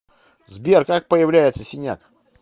сбер как появляется синяк